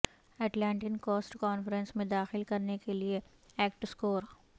Atlantic coast conference میں داخل کرنے کے لئے ایکٹ سکور